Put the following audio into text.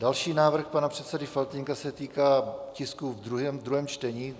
Další návrh pana předsedy Faltýnka se týká tisku ve druhém čtení.